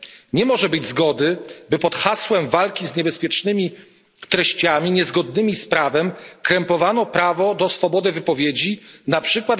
Nie może być zgody, by pod hasłem walki z niebezpiecznymi treściami niezgodnymi z prawem krępowano prawo do swobody wypowiedzi, np.